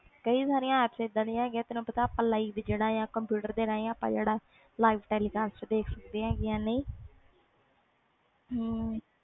ਕਈ ਸਾਰੀਆਂ ਇਹਦਾ ਦੀਆਂ apps ਹੈ ਗਿਆ ਜਿਹਦੇ ਤੇ ਆਪਾ live ਕੰਪਿਊਟਰ ਤੇ livecast ਦੇਖ ਸਕਦੇ ਆ